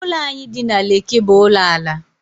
Ụlọ anyị dị na Lekki bụ ụlọ ala